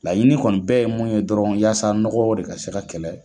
Laɲini kɔni bɛɛ ye mun ye dɔrɔn yasa nɔgɔ de ka se ka kɛlɛ.